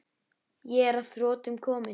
Ég er að þrotum kominn.